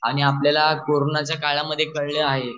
आणि आपल्याला कोरोनाच्या काळा मध्ये कळलं हाये